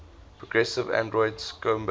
progressive arnold schoenberg